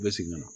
I bɛ segin ka na